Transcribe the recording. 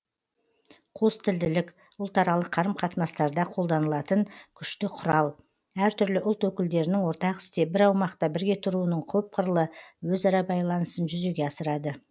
қостілділік ұлтаралық қарым қатынастарда қолданылатын күшті құрал әртүрлі ұлт өкілдерінің ортақ істе бір аумақта бірге тұруының көпқырлы өзара байланысын жүзеге асырады